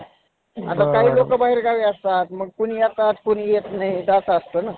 आता काही लोकं बाहेर गावी असतात, मग कुणी येतात कुणी येत नाहीत असं असतं ना.